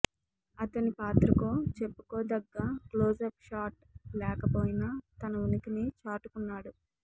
అతని పాత్రకో చెప్పుకోతగ్గ క్లోజప్ షాట్ లేకపోయినా తన ఉనికిని చాటుకున్నాడు